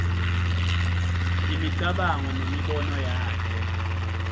imicabango nemibono yakhe